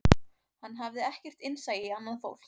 Hann hafði ekkert innsæi í annað fólk